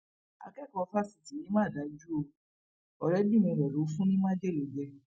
akẹkọọ fásitì yìí mà dájú o ọrẹbìrin rẹ ló fún ní májèlé jẹ